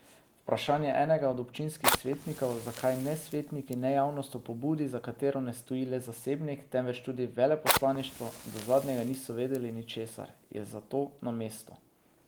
Vprašanje enega od občinskih svetnikov, zakaj ne svetniki ne javnost o pobudi, za katero ne stoji le zasebnik, temveč tudi veleposlaništvo, do zadnjega niso vedeli ničesar, je zato na mestu.